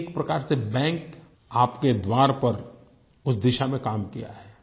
एक प्रकार से बैंक आपके द्वार पर उस दिशा में काम किया है